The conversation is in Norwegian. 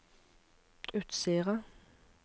Utsira